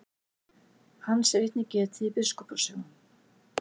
Hans er einnig getið í biskupa sögum.